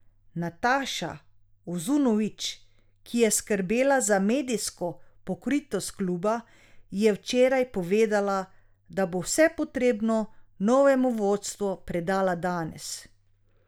Nataša Uzunović, ki je skrbela za medijsko pokritost kluba, je včeraj povedala, da bo vse potrebno novemu vodstvu predala danes.